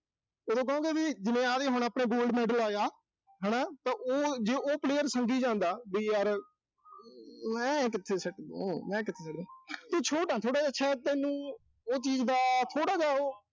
ਉਦੋਂ ਕਹੋਂਗੇ ਵੀ, ਜਿਵੇਂ ਆਹ ਦੇਖੋ, ਹੁਣ ਆਪਣੇ Gold medal ਆਏ ਆ। ਹਨਾ, ਤਾਂ ਉਹ, ਜੇ ਉਹ player ਸੰਗੀ ਜਾਂਦਾ, ਵੀ ਯਰ ਅਮ ਮੈਂ ਕਿੱਥੇ ਸਿੱਟ ਦੂ, ਮੈਂ ਕਿੱਥੇ ਸਿੱਟ ਦੂ। ਤੂੰ ਛੋਟਾ ਥੋੜ੍ਹਾ ਜਾ। ਸ਼ਾਇਦ ਤੈਨੂੰ ਉਹ ਚੀਜ਼ ਦਾ, ਥੋੜ੍ਹਾ ਜਾ ਉਹ।